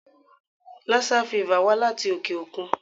Lassa fever wá láti òkè-òkun.